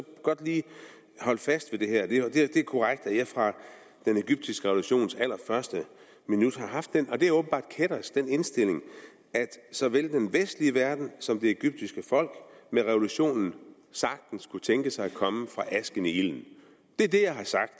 godt lige holde fast i det her det er korrekt at jeg fra den egyptiske revolutions allerførste minut har haft den og det er åbenbart kættersk indstilling at såvel den vestlige verden som det egyptiske folk med revolutionen sagtens kunne tænkes at komme fra asken i ilden det er det jeg har sagt